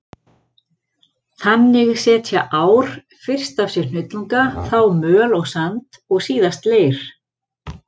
Þannig setja ár fyrst af sér hnullunga, þá möl og sand og síðast leir.